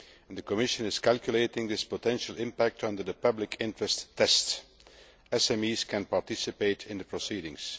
The Commission is calculating this potential impact under the public interest test. SMEs can participate in the proceedings.